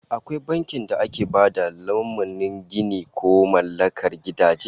Akwai bankin da ke ba da lamunin ginin ko mallakar gidaje